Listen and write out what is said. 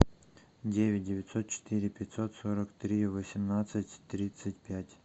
девять девятьсот четыре пятьсот сорок три восемнадцать тридцать пять